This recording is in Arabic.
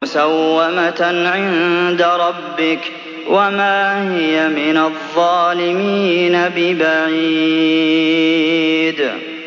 مُّسَوَّمَةً عِندَ رَبِّكَ ۖ وَمَا هِيَ مِنَ الظَّالِمِينَ بِبَعِيدٍ